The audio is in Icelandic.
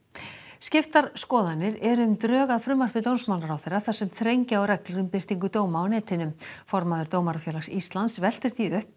skiptar skoðanir eru um drög að frumvarpi dómsmálaráðherra þar sem þrengja á reglur um birtingu dóma á netinu formaður Dómarafélags Íslands veltir því upp